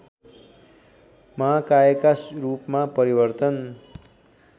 महाकायका रूपमा परिवर्तन